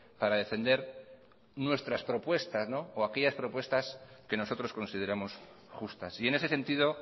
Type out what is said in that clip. para defender nuestras propuestas o aquellas propuestas que nosotros consideramos justas y en ese sentido